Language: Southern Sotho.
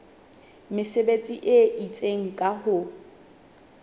mesebetsi e itseng ka ho